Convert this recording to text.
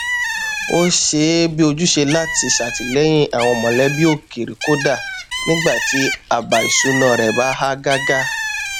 ó ṣe é bi ojúṣe láti ṣàtìlẹyìn àwọn mọlẹbí òkèrè kódà nígbà tí àbá ìṣúná rẹ bá há gágá